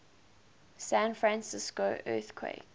san francisco earthquake